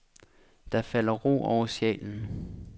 Der falder ro over sjælen.